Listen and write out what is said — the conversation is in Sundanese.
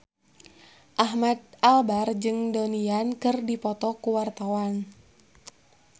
Ahmad Albar jeung Donnie Yan keur dipoto ku wartawan